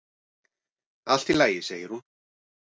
"""Allt í lagi, segir hún."""